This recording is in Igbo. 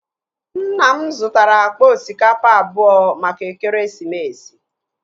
Nna m zutara akpa osikapa abụọ maka ekeresimesi